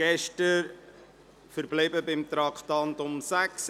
Aber in jenem Moment war es so.